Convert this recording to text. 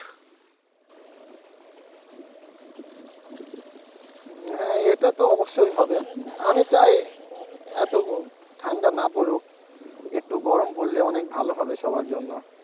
হ্যাঁ এটা তো অবশ্যই হবে আমি চাই এত ঠান্ডা না পড়ুক একটু গরম পড়লে অনেক ভালো হবে সবার জন্য।